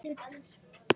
Aldrei annað.